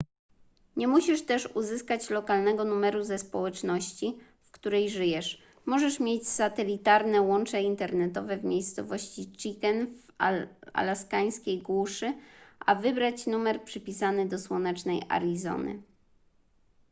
nie musisz też uzyskać lokalnego numeru ze społeczności w której żyjesz możesz mieć satelitarne łącze internetowe w miejscowości chicken w alaskańskiej głuszy a wybrać numer przypisany do słonecznej arizony